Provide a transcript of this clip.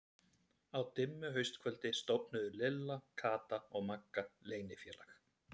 Á dimmu haustkvöldi stofnuðu Lilla, Kata og Magga leynifélag.